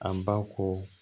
An ba ko